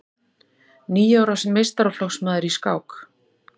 Níu ára meistaraflokksmaður í skák